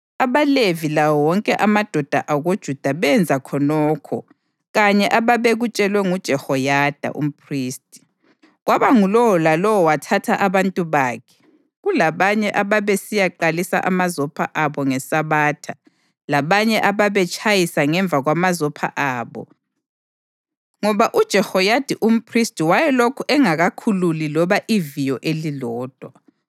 AbaLevi lawo wonke amadoda akoJuda benza khonokho kanye ababekutshelwe nguJehoyada umphristi. Kwaba ngulowo lalowo wathatha abantu bakhe, kulabanye ababesiyaqalisa amazopho abo ngeSabatha labanye ababetshayisa ngemva kwamazopha abo ngoba uJehoyada umphristi wayelokhu engakakhululi loba iviyo elilodwa.